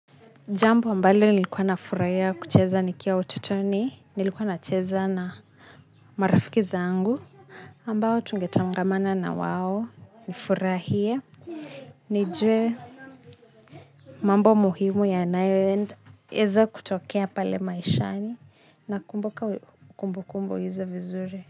Jambo ambalo nilikuwa nafurahia kucheza nikiwa utotoni nilikuwa nacheza na marafiki zangu ambao tungetangamana na wao nifurahie nijue mambo muhimu yanayoweza kutokea pale maishani nakumbuka kumbukumbu hizo vizuri.